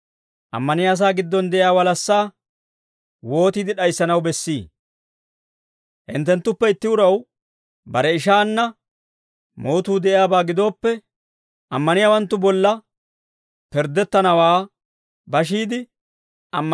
Hinttenttuppe itti uraw bare ishaanna mootuu de'iyaabaa gidooppe, ammaniyaawanttu bolla pirddettanawaa bashiide, ammanennawanttu bolla pirddettanaw waan s'aliide beedda?